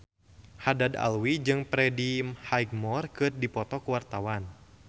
Haddad Alwi jeung Freddie Highmore keur dipoto ku wartawan